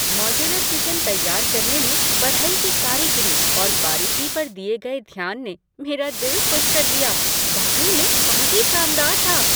Modular kitchen तैयार करने में बढ़ई की कारीगरी और बारीकी पर दिए गए ध्यान ने मेरा दिल खुश कर दिया। वाकई में बहुत ही शानदार था।